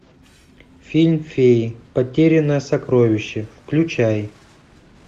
фильм феи потерянное сокровище включай